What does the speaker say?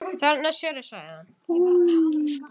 Þarna sérðu, sagði hann.